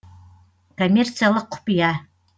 коммерциялық құпия